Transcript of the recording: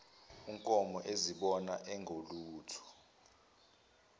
unkomo ezibona engelutho